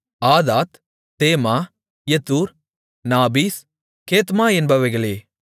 ஆதாத் தேமா யெத்தூர் நாபீஸ் கேத்மா என்பவைகளே